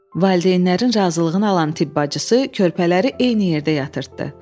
Valideynlərin razılığını alan tibb bacısı körpələri eyni yerdə yatırtdı.